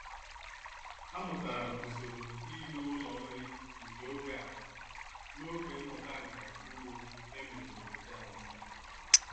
Amụtara m usoro ime ụlọ nri nke oge a n'oge mmụta nka ugbo e mere n'obodo anyị.